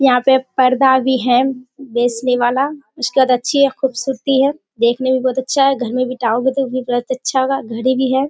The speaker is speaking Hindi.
यहाँ पे पर्दा भी है बेचने वाला उसके बाद अच्छी और खूबसूरती है देखने में भी बहुत अच्छा है घर में भी टांगों गे तो बहुत अच्छा होगा घड़ी भी है।